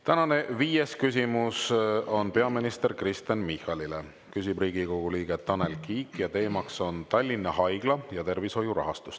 Tänane viies küsimus on peaminister Kristen Michalile, küsib Riigikogu liige Tanel Kiik ning teema on Tallinna Haigla ja tervishoiu rahastus.